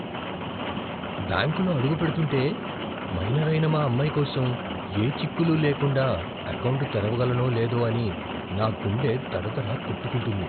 బ్యాంకులో అడుగుపెడుతుంటే, మైనర్ అయిన మా అమ్మాయి కోసం ఏ చిక్కులు లేకుండా ఎకౌంటు తెరవగలనో లేదో అని నా గుండె దడదడా కొట్టుకుంటుంది.